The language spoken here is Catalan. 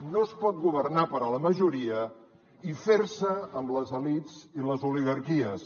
no es pot governar per a la majoria i fer se amb les elits i les oligarquies